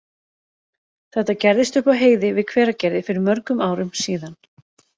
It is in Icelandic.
Þetta gerðist upp á heiði við Hveragerði fyrir mörgum árum síðan.